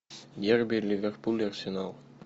дерби ливерпуль арсенал